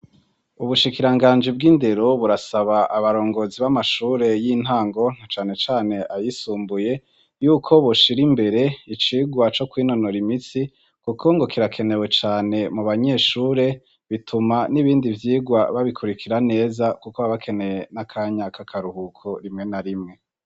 Ubushikiranganji bw'indero burasaba abarongozi b'amashure y'intango nacanecane ayisumbuye uyko boshir'imbere icigwa co kwinonora imitsi kuko ngo kirakenewe cane mubanyeshuere bituma n'ibindivyigwa babikurikira neza kuko baba bakeneye n'akanya k'akaruhuko rimwe na rimwe.